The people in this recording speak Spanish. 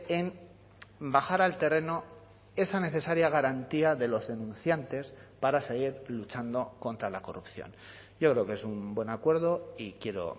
en bajar al terreno esa necesaria garantía de los denunciantes para seguir luchando contra la corrupción yo creo que es un buen acuerdo y quiero